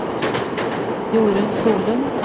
Jorunn Solum